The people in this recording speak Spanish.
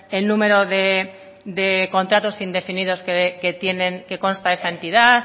el número de contratos indefinidos que tienen que consta esa entidad